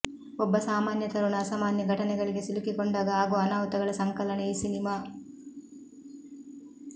ಒಬ್ಬ ಸಾಮಾನ್ಯ ತರುಣ ಅಸಾಮಾನ್ಯ ಘಟನೆಗಳಿಗೆ ಸಿಲುಕಿಕೊಂಡಾಗ ಆಗುವ ಅನಾಹುತಗಳ ಸಂಕಲನ ಈ ಸಿನಿಮಾ